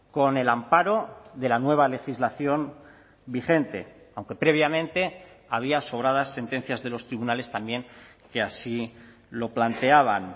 con el amparo de la nueva legislación vigente aunque previamente había sobradas sentencias de los tribunales también que así lo planteaban